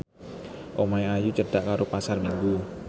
omahe Ayu cedhak karo Pasar Minggu